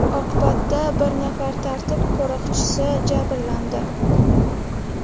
Oqibatda bir nafar tartib qo‘riqchisi jabrlandi.